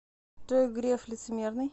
джой греф лицемерный